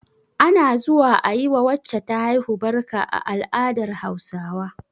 Ana zuwa a yi wa wacce ta haihu barka a al'adar Hausawa